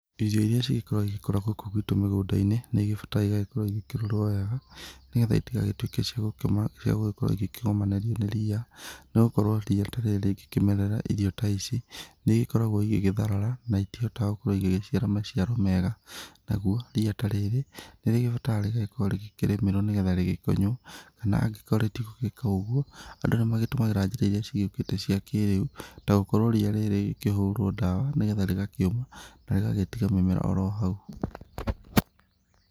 Irio iria cigĩkoragwo igĩkũra gũkũ gwitũ mĩgũnda-ini, nĩ igĩbataraga igagĩkorwo igĩkĩrorwo wega, nĩgetha citigagĩtuĩke cia gũkorwo igĩkĩgomanĩrio nĩ ria, nĩ gũkorwo ria ta rĩrĩ rĩngĩkĩmerera irio ta ici, nĩ igĩkoragwo igĩgĩtharara, na itihotaga gũkorwo igĩgĩciara maciaro mega, naguo ria ta rĩrĩ, nĩ rĩgĩbataraga rĩgagĩkorwo rĩgĩkĩrĩmĩrwo nĩgetha rĩgĩkonywo, kana angĩkorwo rĩtigũgĩka ũguo, andũ nĩ magĩtũmagĩra njĩra iria cigĩũkĩte cia kĩrĩu, ta gũkorwo ria rĩrĩ rĩgĩkĩhũrwo dawa nĩgetha rĩgakĩũma na rĩgagĩtiga mĩmera o ro hau.